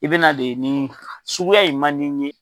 I bɛna de nin suguya in man di n ye.